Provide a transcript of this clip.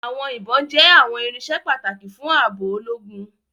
Àwọn ibon jẹ àwọn irinṣẹ́ pàtàkì fún ààbò ológun